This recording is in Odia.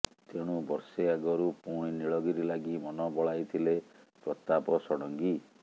ତେଣୁ ବର୍ଷେ ଆଗରୁ ପୁଣି ନୀଳଗିରି ଲାଗି ମନ ବଳାଇଥିଲେ ପ୍ରତାପ ଷଡଂଗୀ